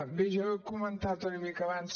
bé jo ho he comentat una mica abans